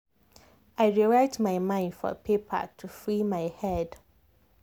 i dey write my mind for paper to free my head.